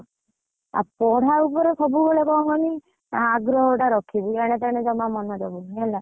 ଆଉ ପଢା ଉପରେ ସବୁବେଳେ କଣ କହିନି ଆଗ୍ରହ ଟା ରଖିବୁ ଆଡେ ସିଆଡେ ଜମା ମନଦବୁନୁ ହେଲା